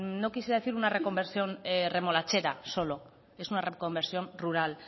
no quisiera decir una reconversión remolachera solo es una reconversión rural